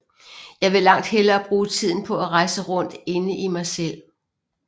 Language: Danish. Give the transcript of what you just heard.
Jeg vil langt hellere bruge tiden på at rejse rundt inde i mig selv